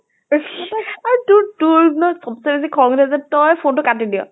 আৰু তোৰ তোৰ ন চব্চে বেছি খং উঠে যে তই phone টো কাটি দিয়।